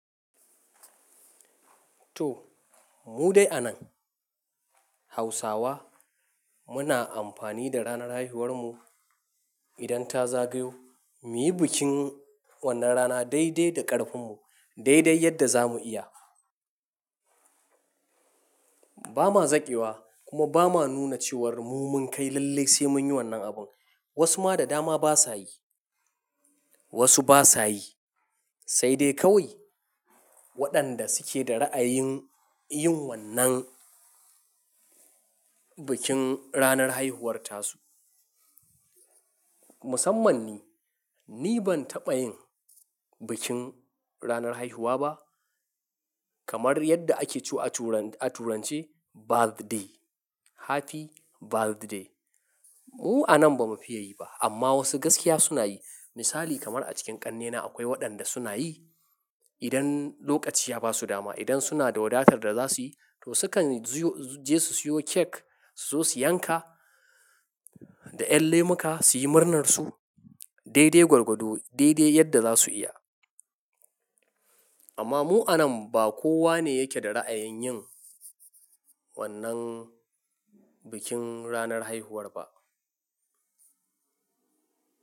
To mu dai a nan Hausawa muna amfani da ranar haihuwarmu idan ta zagayo muyi bikin wannan rana dai dai da ƙarfinmu, dai dai yadda zamu iya. Ba ma zaƙewa kuma ba ma nuna cewar mu mun kai lallai sai mun yi wannan abin. Wasu ma da dama ba sa yi, wasu ba sa yi, sai dai kawai waɗanda suke da ra'ayin yin wannan bikin ranar haihuwar ta su. Musamman ni, ni ban taɓa yin bikin ranar haihuwa ba kamar yadda ake cewa a turance "Birthday, happy birthday." Mu a nan ba mu fiye yi ba amma wasu gaskiya suna yi. Misali kamar a cikin ƙannena akwai waɗanda suna yi idan lokaci ya ba su dama, idan suna da wadatar da za su yi to sukan je su siyo kek, su zo su yanka da yan lemuka su yi murnar su dai-dai gwargwado, dai-dai yadda za su iya. Amma mu anan ba kowa ne yake da ra'ayin yin wannan bikin ranar haihuwar ba.